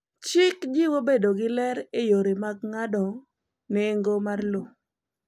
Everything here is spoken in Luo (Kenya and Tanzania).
Chik jiwo bedo gi ler e yore mag ng’ado go nengo mar lowo.